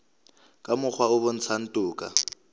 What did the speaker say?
ka mokgwa o bontshang toka